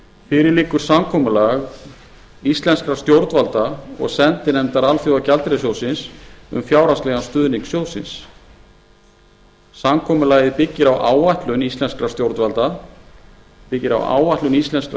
fyrir liggur samkomulag íslenskra stjórnvalda og sendinefndar alþjóðagjaldeyrissjóðsins um fjárhagslegan stuðning sjóðsins samkomulagið byggir á áætlun íslenskra